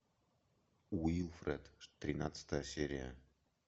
уилфред тринадцатая серия